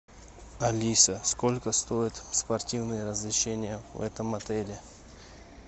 алиса сколько стоят спортивные развлечения в этом отеле